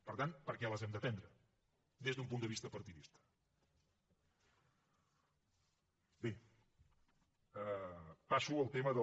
per tant per què les hem de prendre des d’un punt de vista partidista bé passo al tema del